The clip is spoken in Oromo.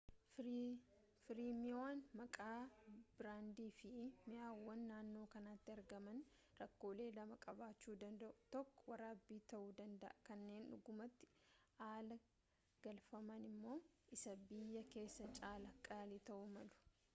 fireemiiwwan maqaa biraandii fi mi’aawoon naannoo kanatti argaman rakkoolee lama qabaachuu danda’u ; tokko waraabbii ta’uu danda’a kanneen dhugaamatti alaa galfaman immoo isa biyya keessaa caalaa qaalii ta’uu malu